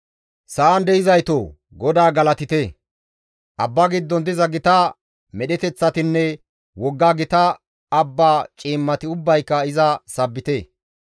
Sa7an de7izaytoo! GODAA galatite! Abba giddon diza gita medheteththatinne wogga gita abba ciimmati ubbayka iza sabbite.